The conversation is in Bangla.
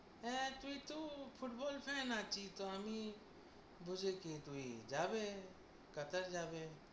হ্যাঁ, তুই তো football fan নাকি তো আমি বুঝে কী তুই যাবে কাতার যাবে।